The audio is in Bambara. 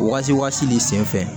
Wagati ni sen fɛ